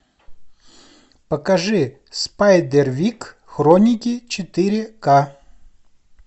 покажи спайдервик хроники четыре ка